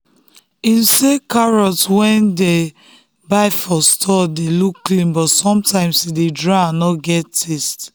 him say carrot wey dem buy for store dey look clean but sometimes e dey dry and no get taste.